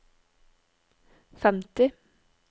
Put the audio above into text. femti